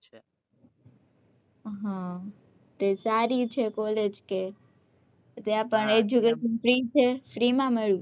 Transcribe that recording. હ કે સારી છે college કે ત્યાં પણ educationfree છે free માં મલ્યું છે